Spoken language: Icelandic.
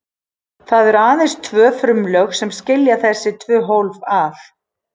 Það eru aðeins tvö frumulög sem skilja þessi tvö hólf að.